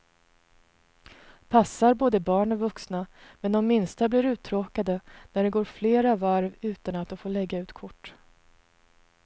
Passar både barn och vuxna, men de minsta blir uttråkade när det går flera varv utan att de får lägga ut kort.